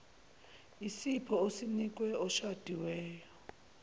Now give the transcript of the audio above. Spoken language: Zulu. isipho osinike oshadiweyo